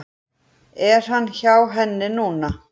Er hann hjá henni núna?